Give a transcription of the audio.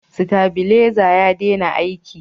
stabileza ya dena aiki